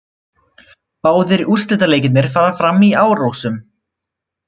Báðir úrslitaleikirnir fara fram í Árósum